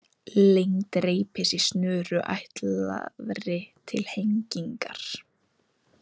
Lengd reipis í snöru ætlaðri til hengingar.